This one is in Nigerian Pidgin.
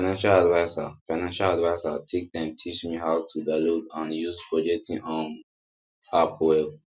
financial adviser financial adviser take time teach me how to download and use budgeting um app well